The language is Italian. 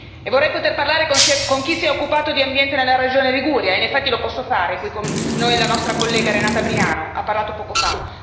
E vorrei poter parlare con chi si è occupato di ambiente nella regione Liguria, in effetti lo posso fare, è qui con noi la nostra collega Briano, ha parlato poco fa.